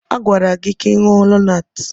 A gwara gị ka ị ṅụọ Lonaatị!